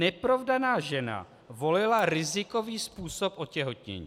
Neprovdaná žena volila rizikový způsob otěhotnění.